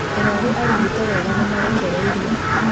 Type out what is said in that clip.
Arwaru arigite weega nĩ marekereirio